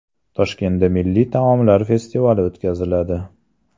Toshkentda milliy taomlar festivali o‘tkaziladi.